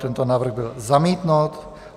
Tento návrh byl zamítnut.